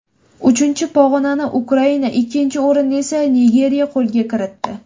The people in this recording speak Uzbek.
Uchinchi pog‘onani Ukraina, ikkinchi o‘rinni esa Nigeriya qo‘lga kiritdi.